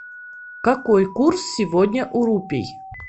какой курс сегодня у рупий